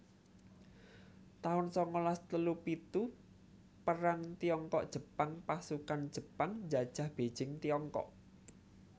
taun sangalas telu pitu Perang Tiongkok Jepang Pasukan Jepang njajah Beijing Tiongkok